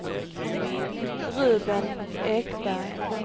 Ruben Ekberg